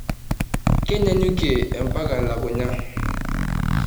Kenyanyukie ampaka elukunya.